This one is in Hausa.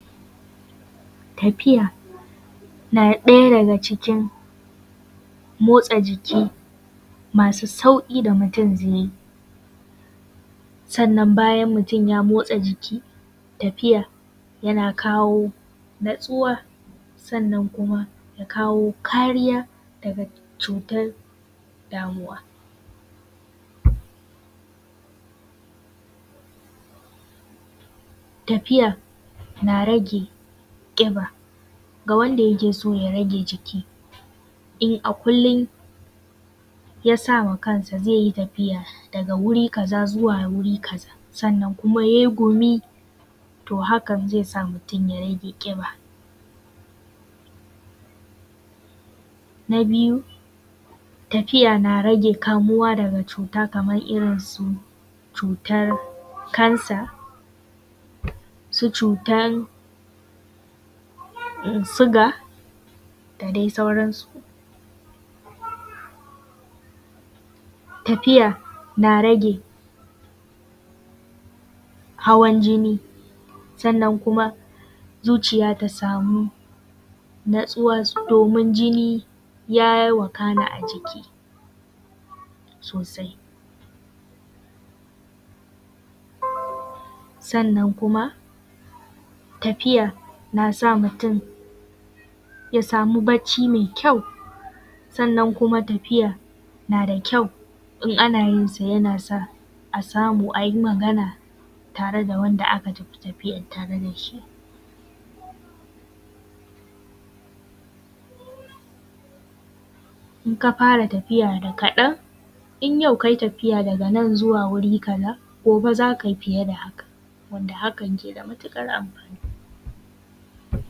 Tafiya na ɗaya daga cikin motsa jiki masu sauƙi da mutum zai yi. Sannan bayan mutum ya motsa jiki, tafiya yana kawo natsuwa, sannan kuma ya kawo kariya daga cutar damuwa. Tafiya na rage ƙiba, ga wanda yake so ya rage jiki, in a kullum ya saw a kansa zai yi tafiya daga wuri kaza zuwa wuri kaza sannan kuma yai gumi, to hakan zai sa mutum ya rage ƙiba. Na biyu tafiya na rage rage kamuwa daga cta kamar irin su cutar cancer, su cutan siga, da dai sauransu. Tafiya na rage hawan jini, sannan kuma zuciya ta samu natsuwa domin jini ya wakana a jiki sosai, sannan kuma tafiya na sa mutum ya samu bacci mai kyau, sannan kuma tafiya na da kyau, in ana yinsa yana sa a samu a yi Magana tare da wanda aka tafi tafiyar tare da shi. In ka fara tafiya da kaɗan, in yau kai tafiya daga nan zuwa wuri kaza, gobe z aka yi fiye da haka, wanda hakan na da matuƙar amfani.